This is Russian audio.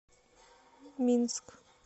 минск